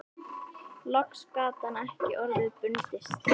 Loks gat hann ekki orða bundist